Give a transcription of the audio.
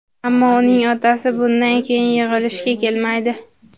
Ammo uning otasi bundan keyin yig‘ilishga kelmaydi.